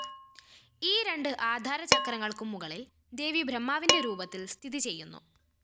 ഈ രണ്ട് ആധാരചക്രങ്ങള്‍ക്കും മുകളില്‍ ദേവി ബ്രഹ്മാവിന്റെ രൂപത്തില്‍ സ്ഥിതിചെയ്യുന്നു